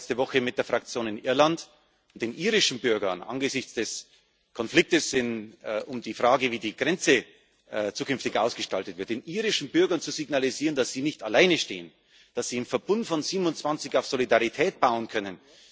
Wir waren letzte Woche mit der Fraktion in Irland, um den irischen Bürgern angesichts des Konflikts um die Frage, wie die Grenze zukünftig ausgestaltet wird, zu signalisieren, dass sie nicht alleine stehen, dass sie im Verbund von 27 auf Solidarität bauen können.